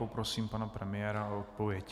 Poprosím pana premiéra o odpověď.